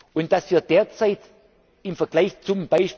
Und dass wir derzeit im Vergleich